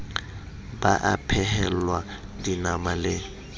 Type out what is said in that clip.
ba a phehelwa dinama le